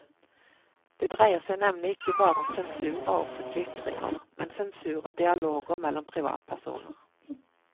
Det dreier seg nemlig ikke bare om sensur av offentlige ytringer, men sensur av dialoger mellom privatpersoner.